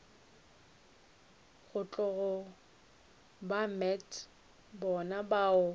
tlogo ba met bona bao